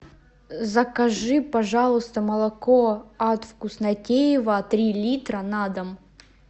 закажи пожалуйста молоко от вкуснотеево три литра на дом